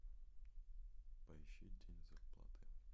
поищи день зарплаты